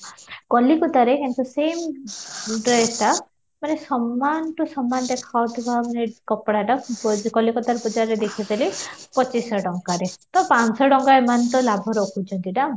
କଲିକତାରେ କିନ୍ତୁ same dress ଟା ମାନେ ସମାନ to ସମାନ ଦେଖା ଯାଉଥିବା ମାନେ କପଡାଟା କଲିକତାରେ ବଜାରରେ ଦେଖିଥିଲି ପଚିଶ ଶହ ଟଙ୍କାରେ ତ ପାଞ୍ଚ ଶହ ଟଙ୍କା ଏମାନେ ତ ଲାଭ ରଖୁଛନ୍ତି ନା?